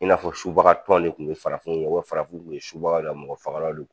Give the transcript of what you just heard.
I n'a fɔ subaga tɔn de tun ye farafinw ye u bɛ farafinw kun ye subaga do a mɔgɔ fagala do